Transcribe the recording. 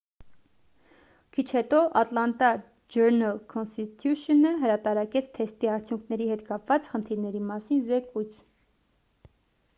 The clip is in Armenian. քիչ հետո ատլանտա ջըրնըլ-քոնսթիթյուշընը հրատարակեց թեստի արդյունքների հետ կապված խնդիրների մասին զեկույց